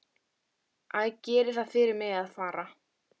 Æ, gerið það fyrir mig að fara.